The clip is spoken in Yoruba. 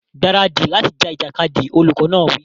Gbáradì láti ja ìjàkadì! Olùkọ́ náà wí.